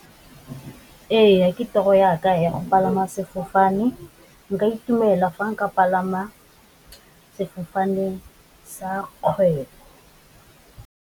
Ee, ke toro ya ka ya go palama sefofane, nka itumela fa nka palama sefofane sa kgwebo.